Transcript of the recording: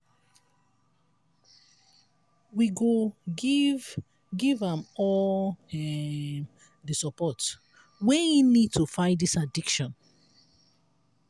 we go giv giv am all um di support wey e need to fight dis addiction